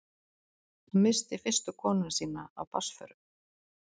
Hann missti fyrstu konuna sína af barnsförum.